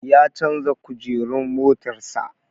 Ya canja Kujerun motar sa